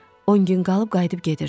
On gün qalıb qayıdıb gedirdi.